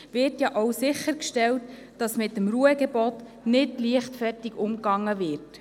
Gleichzeitig wird ja auch sichergestellt, dass mit dem Ruhegebot nicht leichtfertig umgegangen wird.